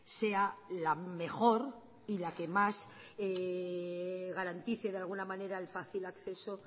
sea la mejor y la que más garantice de alguna manera el fácil acceso